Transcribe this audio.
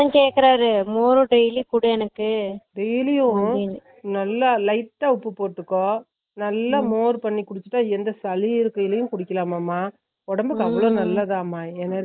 அதன் கேக்குறாரு dailyu குடு எனக்கு daily உம் நல்ல lite அ உப்பு போட்டுக்கோ நல்ல மோர் பண்ணி குடுத்துட்ட எந்த சளி இருக்கையும் கூட குடிக்காலமா ஒடம்பு அவ்ளோ நல்லதமா